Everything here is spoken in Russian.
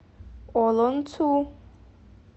олонцу